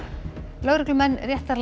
lögreglumenn